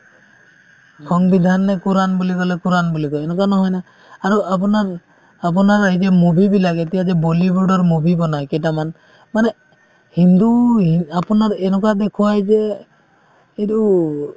সংবিধানে কোৰাণ বুলি ক'লে কোৰাণ বুলি কই এনেকুৱা নহয় না আৰু আপোনাৰ আপোনাৰ এই যে movie বিলাক এতিয়া যে বলীউডৰ movie বনাই কেইটামান মানে হিন্দু হি আপোনাৰ এনেকুৱা দেখুৱাই যে এইটো